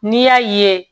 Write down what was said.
N'i y'a ye